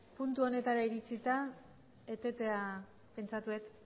puntu honetara iritsita etetea pentsatu dut